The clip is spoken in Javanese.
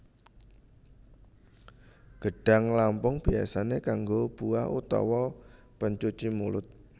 Gedhang lampung biasane kanggo buah utawa pencuci mulut